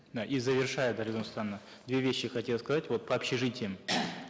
да и завершая дарига нурсултановна две вещи хотел сказать вот по общежитиям